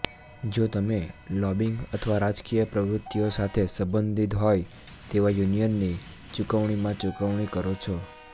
જો તમે લોબિંગ અથવા રાજકીય પ્રવૃત્તિઓ સાથે સંબંધિત હોય તેવા યુનિયનની ચુકવણીમાં ચુકવણી કરો છો